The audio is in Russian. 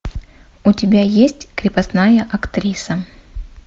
у тебя есть крепостная актриса